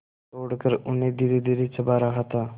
तोड़कर उन्हें धीरेधीरे चबा रहा था